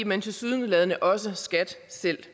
men tilsyneladende også skat selv